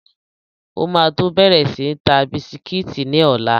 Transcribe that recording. O ma tó bẹ̀rẹ̀ sí ń ta bisikítì ní ọ̀la.